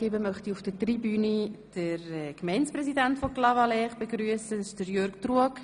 Ich möchte nun den Gemeindepräsidenten von Clavaleyres, Jörg Truog, auf der Tribüne begrüssen.